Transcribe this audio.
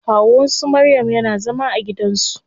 Kawun su maryam yana zama a gidan su.